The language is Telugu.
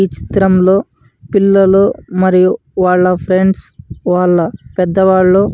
ఈ చిత్రంలో పిల్లలు మరియు వాళ్ళ ఫ్రెండ్స్ వాళ్ళ పెద్దవాళ్ళు --